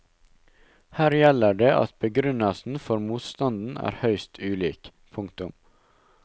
Her gjelder det at begrunnelsen for motstanden er høyst ulik. punktum